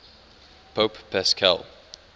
pope paschal